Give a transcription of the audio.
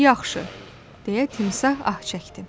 "Yaxşı," deyə timsah ah çəkdi.